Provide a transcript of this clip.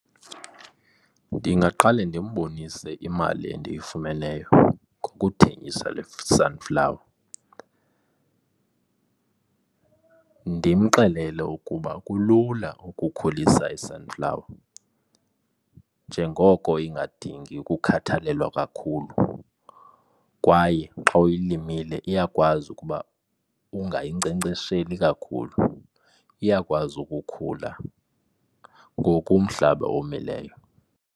Ndingaqale ndimbonise imali endiyifumeneyo ngokuthengisa le sunflower, ndimxelele ukuba kulula ukukhulisa i-sunflower njengoko ingadingi ukukhathalelwa kakhulu. Kwaye xa uyilimile iyakwazi ukuba ungayinkcenkcesheli kakhulu. Iyakwazi ukukhula ngoku umhlaba omileyo.